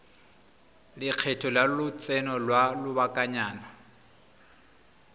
lekgetho la lotseno lwa lobakanyana